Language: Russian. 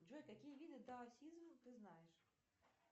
джой какие виды даосизм ты знаешь